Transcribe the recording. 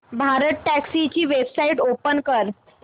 भारतटॅक्सी ची website open कर